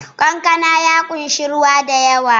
Kankana ya ƙunshi ruwa da yawa